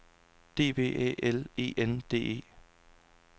D V Æ L E N D E